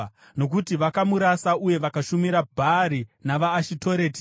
nokuti vakamurasa uye vakashumira Bhaari navaAshitoreti.